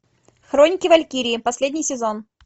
хроники валькирии последний сезон